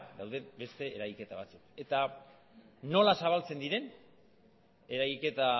dauden beste eragiketa batzuk nola zabaltzen dira eragiketa